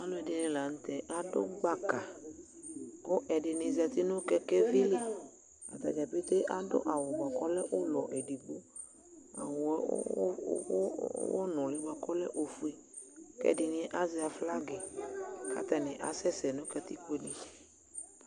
Aluɛɖini lanu tɛ Aɖu gbaka Ku ɛɖini zãti nu kɛkɛʋi li Ataɖza pété aɖu awu buaku ɔlɛ ulɔ eɖigbo Awu u u únúli buaku ɔlɛ ofue Ku ɛɖini azɛ aflaga yɛ, ku atani asɛ sɛ nu katikpone